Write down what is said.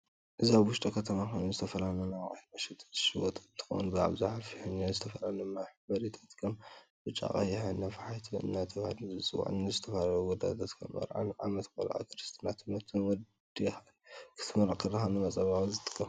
እዚ ኣብ ውሽጢ ከተማ ኮይኑ ዝተፈላላዩ ናይ ኣቁሑት መሸጢ ዝሽየጦ እንትከውን ብኣብዛሓ ፌሕኛ ዝትፈላለዩ መሕብሪታት ከም ብጫ ቀይሕ፣ ወይ ነፋሕቶ እደተበሃለ ዝፅዋ ንዝተፈላለዩ ጉዳያት ከም መርዓ፣ ዓመት ቆላዓ፣ ክርስትና ፣ትምህርት ወድኢካ ክትምረቂ ተለካ ንምፃባበቂ ዝጠቅም